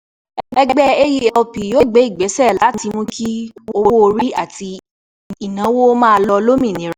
Ẹgbẹ́ AELP yóò gbé ìgbésẹ̀ láti mú kí owó orí àti ìnáwó máa lọ lómìnira.